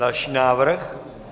Další návrh.